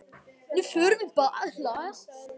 Nú förum við bæði að hlæja.